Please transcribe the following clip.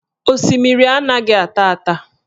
Osimiri anaghị ata ata